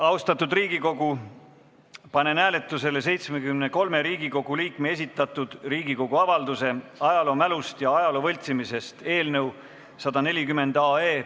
Austatud Riigikogu, panen hääletusele 73 Riigikogu liikme esitatud Riigikogu avalduse "Ajaloomälust ja ajaloo võltsimisest" eelnõu 140.